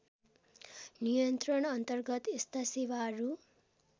नियन्त्रणअन्तर्गत यस्ता सेवाहरू